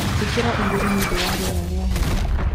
Ìkĩraĩgũrũ niundu wa rĩera rĩa heho